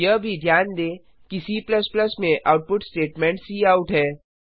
यह भी ध्यान दें कि C में आउटपुट स्टेटमेंट काउट है